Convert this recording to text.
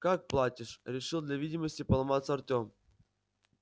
как платишь решил для видимости поломаться артем